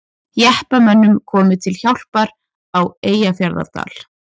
Jeppamönnum komið til hjálpar á Eyjafjarðardal